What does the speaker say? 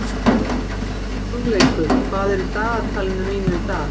Hugleikur, hvað er í dagatalinu mínu í dag?